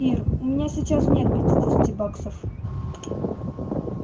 ир у меня сейчас нет пятидесяти баксов